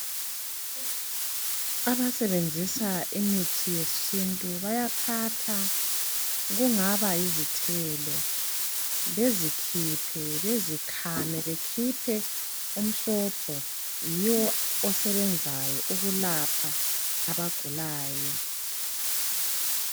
Abasebenzisa imithi yesintu bayathatha, kungaba yizithelo, bezikhiphe, bezikhame ,bekhiphe umsobho. Yiwo osebenzayo ukulapha abagulayo .